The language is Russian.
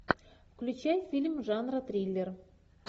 включай фильм жанра триллер